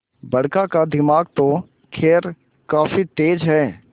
बड़का का दिमाग तो खैर काफी तेज है